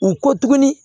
U ko tuguni